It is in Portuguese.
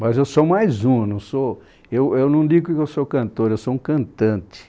Mas eu sou mais um, eu não sou, eu eu não digo que eu sou cantor, eu sou um cantante.